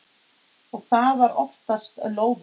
Og það var oftast lóðið.